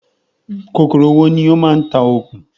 Kòkòrò wo ní ó ń ma ń tá okùn?